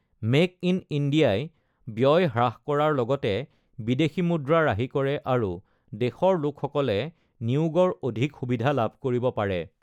Make in ইণ্ডিয়াই ব্যয় হ্ৰাস কৰাৰ লগতে বিদেশী মুদ্ৰা ৰাহি কৰে আৰু দেশৰ লোকসকলে নিউগৰ অধিক সুবিধা লাভ কৰিব পাৰে।